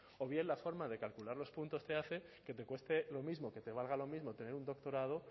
o bien la forma de calcular los puntos te hace que te cueste lo mismo que te valga lo mismo tener un doctorado